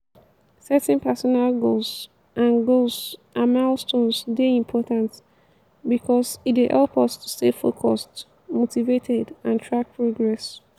setting personal goals and goals and milestones dey important because e dey help us to stay focused motivated and track progress.